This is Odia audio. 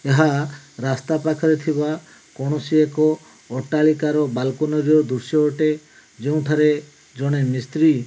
ଏହା ରାସ୍ତା ପାଖରେ ଥିବା କୌଣସି ଏକ ଅଟ୍ଟାଳିକା ର ବାଲକୋନି ର ଦୃଶ୍ୟ ଅଟେ ଯେଉଁଠାରେ ଜଣେ ମିସ୍ତ୍ରୀ --